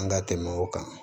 An ka tɛmɛ o kan